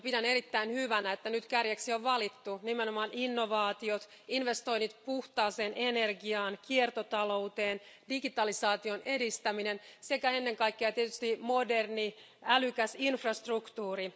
Pidän erittäin hyvänä, että nyt kärjeksi on valittu nimenomaan innovaatiot, investoinnit puhtaaseen energiaan, kiertotalous, digitalisaation edistäminen sekä ennen kaikkea tietysti moderni, älykäs infrastruktuuri.